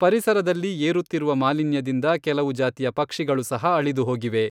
ಪರಿಸರದಲ್ಲಿ ಏರುತ್ತಿರುವ ಮಾಲಿನ್ಯದಿಂದ ಕೆಲವು ಜಾತಿಯ ಪಕ್ಷಿಗಳು ಸಹ ಅಳಿದುಹೋಗಿವೆ.